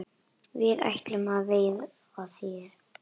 Við ætlum að veiða þær